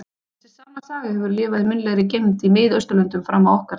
Þessi sama saga hefur lifað í munnlegri geymd í Mið-Austurlöndum fram á okkar daga.